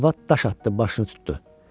Arvad daş atdı, başını tutdu.